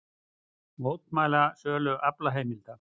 Mótmæla sölu aflaheimilda